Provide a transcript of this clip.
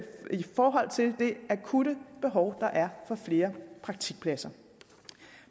forhold til det akutte behov der er for flere praktikpladser